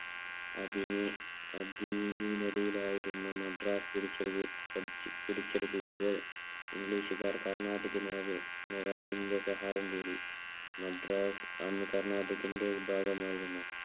അധീനതയിൽ ആയിരുന്നു മദ്രാസ് പിടിച്ചെടുക്കുമ്പോൾ ഇംഗ്ലീഷുകാർ കർണാട്ടിക്കിൽ ആകെ നവാബിന്റെ സഹായം തേടി. മദ്രാസ് അന്ന് കർണാട്ടിക്കിന്റെ വിഭാഗം ആയിരുന്നു.